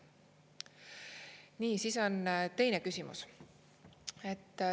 Nii, siis on teine küsimus.